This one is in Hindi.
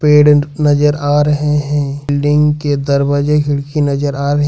पेड़ नजर आ रहे हैं बिल्डिंग के दरवाजे खिड़की नजर आ रहे--